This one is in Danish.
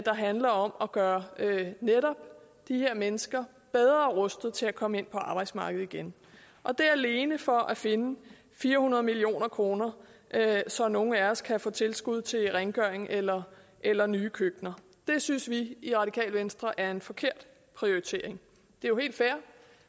handler om at gøre netop de her mennesker bedre rustet til at komme ind på arbejdsmarkedet igen og det alene for at finde fire hundrede million kr så nogle af os kan få tilskud til rengøring eller eller nye køkkener det synes vi i radikale venstre er en forkert prioritering det er jo helt fair